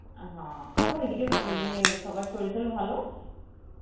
অ্যাঁ হা, আচ্ছা ওই দিকে ওই ইয়ে সবার সরির তরীর ভালো আছে?